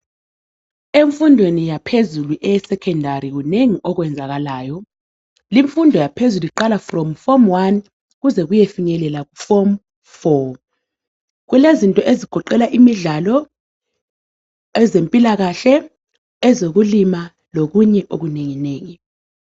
Emfundweni yaphezulu eyesecondary kunengi okwenzakalayo limfundo yaphezulu iqala kuform1 kuze kuyefinyelela kuform4 kulezinto ezigoqela imidlalo ezempilakahle ezokulima lokunye okunengi nengi.